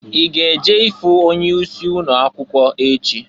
I ga-eje ifu onye isi ụnọ akwụkwọ echị?